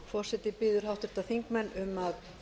forseti biður háttvirtir þingmenn um að